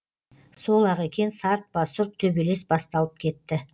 сол ақ екен сартпа сұрт төбелес басталып кетті